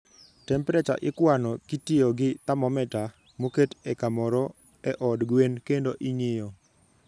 Temperature ikwano kitiyo gi thermometer moket e kamoro e od gwen kendo ing'iyo.